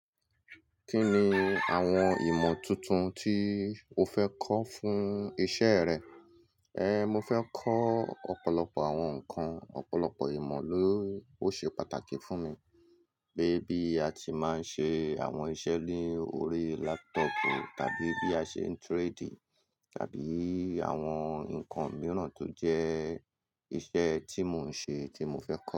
Kí ni àwọn ìmọ̀ tuntun tí o fẹ́ kọ́ fún iṣẹ́ rẹ? Eh, mo fẹ́ kọ́ ọ̀pọ̀lọpọ̀ àwọn nǹkan, ọ̀pọ̀lọpọ̀ ìmọ̀ ló ṣe pàtàkì fún mi. Pè bí a ti máa ń ṣe àwọn iṣẹ́ lórí laptop tàbí bí a ṣe ń trade tàbí àwọn nǹkan mìíràn tó jẹ́ iṣẹ́ tí mò ń ṣe tí mo fẹ́ kọ́